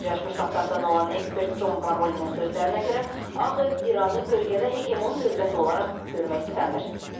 Birləşmiş Ştatlardan olan ekspert Con Varolinin sözlərinə görə, Ağev İranı bölgədə heqemon dövlət olaraq görmək istəmir.